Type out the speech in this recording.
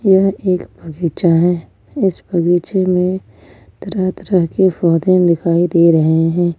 यह एक बगीचा है इस बगीचे में तरह तरह के पौधे दिखाई दे रहे हैं।